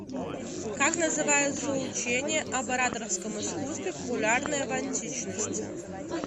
как называется учение об ораторском искусстве популярное в античности